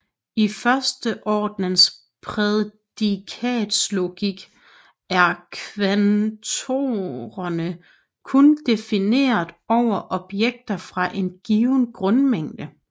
I førsteordens prædikatslogik er kvantorerne kun defineret over objekter fra en given grundmængde